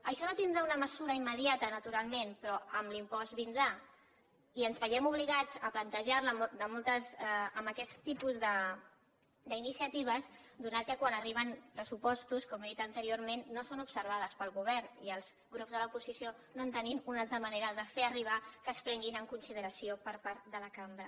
això no tindrà una mesura immediata naturalment però amb l’impost vindrà i ens veiem obligats a plantejarla amb aquests tipus d’iniciatives perquè quan arriben pressupostos com he dit anteriorment no són observades pel govern i els grups de l’oposició no tenim una altra manera de fer arribar que es prenguin en consideració per part de la cambra